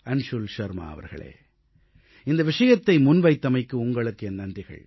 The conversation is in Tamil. அன்ஷுல் அவர்களே இந்த விஷயத்தை முன்வைத்தமைக்கு உங்களுக்கு என் நன்றிகள்